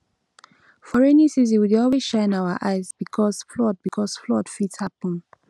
for rainy season we dey always shine our eyes because flood because flood fit happen